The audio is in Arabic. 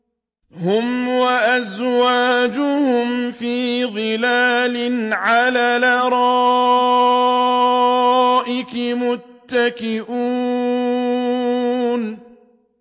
هُمْ وَأَزْوَاجُهُمْ فِي ظِلَالٍ عَلَى الْأَرَائِكِ مُتَّكِئُونَ